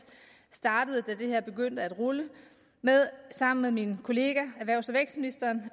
startede da det her begyndte at rulle sammen med min kollega erhvervs og vækstministeren